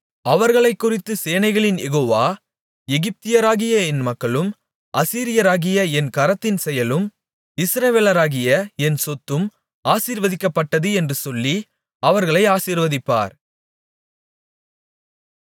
அவர்களைக்குறித்துச் சேனைகளின் யெகோவா எகிப்தியராகிய என் மக்களும் அசீரியராகிய என் கரத்தின் செயலும் இஸ்ரவேலராகிய என் சொத்தும் ஆசீர்வதிக்கப்பட்டது என்று சொல்லி அவர்களை ஆசீர்வதிப்பார்